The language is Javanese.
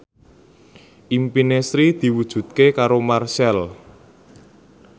impine Sri diwujudke karo Marchell